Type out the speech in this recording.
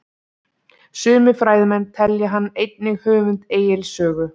Sumir fræðimenn telja hann einnig höfund Egils sögu.